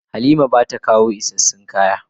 Halima bata kawo isassun kaya ba.